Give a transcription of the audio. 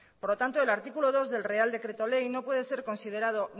por lo tanto el artículo dos del real decreto ley no puede ser considerado